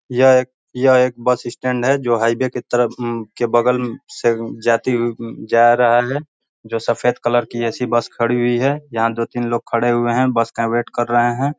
यह एक यह एक बस स्टैंड है जो हाईवे की तरफ में अम बगल से जाती हुई अम जा रहा है जो सफ़ेद कलर की ऐसी बस खड़ी हुई है जहाँ दो-तीन लोग खड़े हुए हैं। बस का वेट कर रहे हैं।